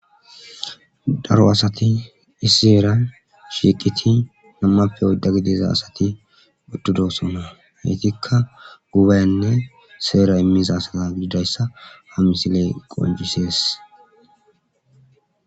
daro asati issiseera shiiqiti nammappe odda gidiza asati buttudosona haytikka gubaynne seera immiza asaa gididayssa ha misiley qoljisees